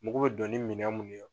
Mugu bɛ dɔn ni minɛn mun ye